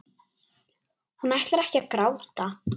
Hún ætlar ekki að gráta.